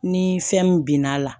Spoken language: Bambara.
Ni fɛn min bin n'a la